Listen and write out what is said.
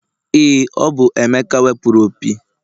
Ee, ọ bụ emeka wepụrụ opi.